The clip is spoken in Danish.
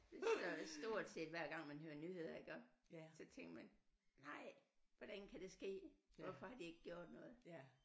Det gør den stort set hver gang man hører nyheder iggå så tænker man nej hvordan kan det ske hvorfor har de ikke gjort noget